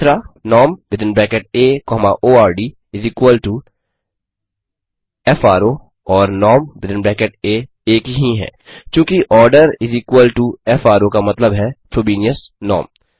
norm within bracket A comma ordis equal to fro और norm एक ही हैं चूँकि orderis इक्वल टो फ्रो का मतलब है फ्रोबेनियस नॉर्म